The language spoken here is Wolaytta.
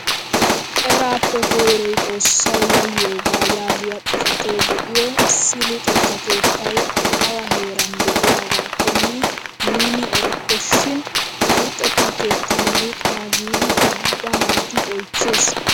Eraappe koyroy xoossawu yayiyoogaa yaagiyaa xifatee de'iyoo issi luxetta keettay awa heeran de'iyaagaakonne nuuni erokko shin ha luxetta keettan luxana giidi ubba naati oychchees!